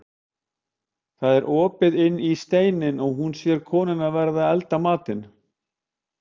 Það var opið inn í steininn og hún sér konuna vera að elda matinn.